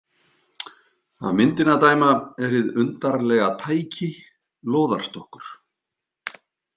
Af myndinni að dæma er hið „undarlega tæki“ lóðarstokkur.